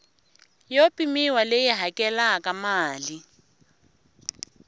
yo pimiwa leyi hakelaka mali